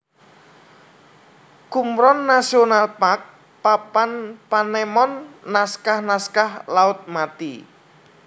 Qumran National Park Papan panemon Naskah naskah Laut Mati